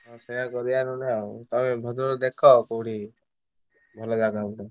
ହଁ ସେଇୟା କରିବା ନହନେ ଆଉ ତମେ ଭଦ୍ରକ ଦେଖ କଉଠି ଭଲ ଜାଗା ଗୁଟେ।